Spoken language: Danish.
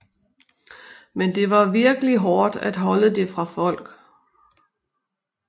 Men det var virkelig hårdt at holde det fra folk